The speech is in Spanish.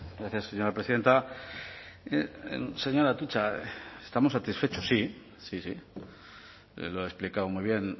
gracias señora presidenta señor atutxa estamos satisfechos sí sí lo he explicado muy bien